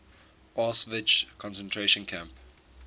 auschwitz concentration camp